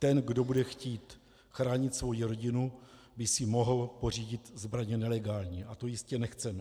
Ten, kdo bude chtít chránit svoji rodinu, by si mohl pořídit zbraně nelegálně a to jistě nechceme.